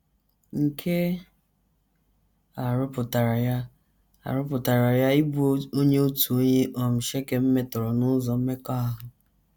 Nke a rụpụtara ya a rụpụtara ya ịbụ onye otu onye um Shekem metọrọ n’ụzọ mmekọahụ.